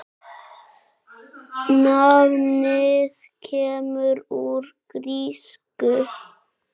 Nafnið kemur úr grísku